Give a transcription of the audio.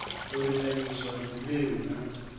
u linganyiswa ha dzimbeu na